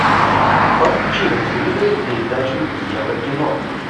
подключи на телевизоре передачу еврокино